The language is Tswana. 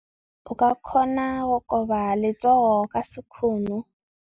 O ka kgona go koba letsogo ka sekgono.